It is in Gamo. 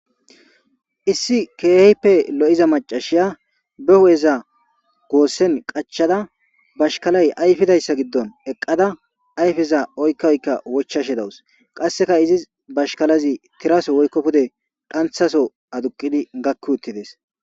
issi keeheyppe lo7iza macashiya be hu7eza goossen qachada bashkalay ayfidayssa giddon eqqada ayfeza oykkoykka wochashe dawus qasseka izis bashkalazi tiraso woykko pude qanthaso aduqidi gakki uttides